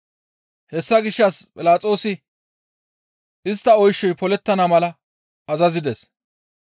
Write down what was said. Hessa gishshas Philaxoosi istta oyshoy polettana mala azazides.